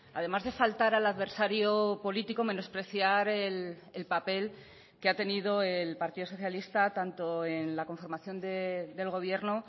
además de faltar al adversario político menospreciar el papel que ha tenido el partido socialista tanto en la conformación del gobierno